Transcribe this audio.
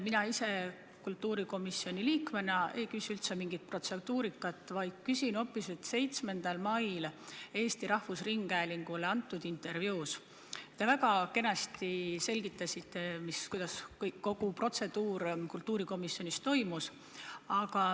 Mina kultuurikomisjoni liikmena ei küsi üldse protseduurika kohta, vaid küsin hoopis 7. mail Eesti Rahvusringhäälingule antud intervjuu kohta, kus te väga kenasti selgitasite, kuidas kogu protseduur kultuurikomisjonis toimus.